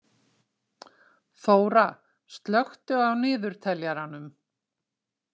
Þóra, slökktu á niðurteljaranum.